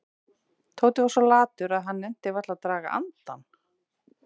Tóti var svo latur að hann nennti varla að draga andann.